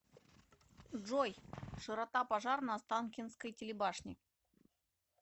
джой широта пожар на останкинской телебашне